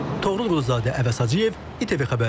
Toğrul Quluzadə, Əvəz Hacıyev, ATV xəbər.